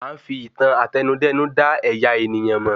À ń fi ìtàn Àtẹnudẹ́nu da ẹ̀yà ènìyàn mò